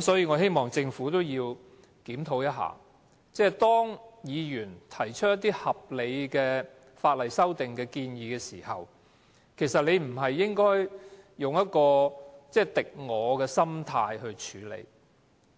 所以，我希望政府檢討，當議員提出一些合理的法例修訂建議時，當局不應該用一種"敵我"的心態來處